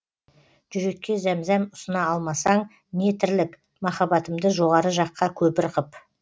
жүрекке зәмзәм ұсына алмасаң не тірлік махаббатымды жоғары жаққа көпір қып